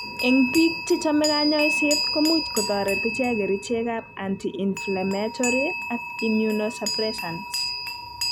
Eng' biik chemoche kanyoiset komuch kotoret ichek kerichekab anti inflammatory ak immunosuppressants